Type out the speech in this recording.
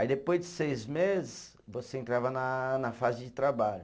Aí depois de seis meses, você entrava na na fase de trabalho.